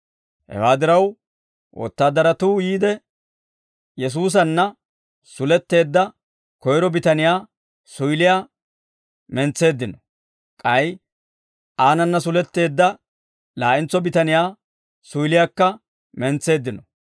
Hewaa diraw, wotaadaratuu yiide, Yesuusanna suletteedda koyro bitaniyaa suyiliyaa mentseeddino; k'ay aanana suletteedda laa'entso bitaniyaa suyiliyaakka mentseeddino.